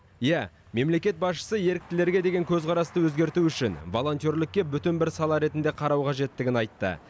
иә мемлекет басшысы еріктілерге деген көзқарасты өзгерту үшін волонтерлікке бүтін бір сала ретінде қарау қажеттігін айтты